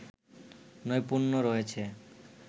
নৈপুণ্য রয়েছে